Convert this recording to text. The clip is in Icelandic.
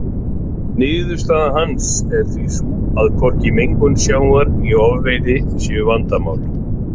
Niðurstaða hans er því sú að hvorki mengun sjávar né ofveiði séu vandamál.